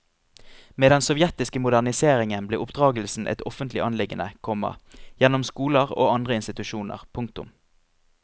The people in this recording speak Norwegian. Med den sovjetiske moderniseringen ble oppdragelsen et offentlig anliggende, komma gjennom skoler og andre institusjoner. punktum